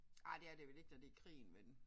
Ej det er det vel ikke når det krigen vel